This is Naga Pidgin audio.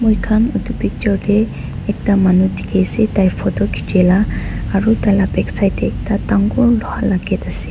muikan etu picture de ekta manu diki ase tai photo kichia la aro taila backside de dangoor loha la gate ase.